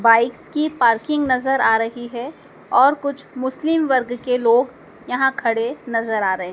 bikes की parking नजर आ रही है और कुछ मुस्लिम वर्ग के लोग यहां खड़े नजर आ रहे--